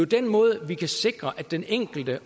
den måde vi kan sikre at den enkelte